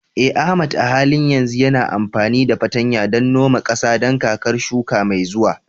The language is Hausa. Eh Ahmad a halin yanzu yana amfani da fartanya don noma ƙasa don kakar shuka mai zuwa.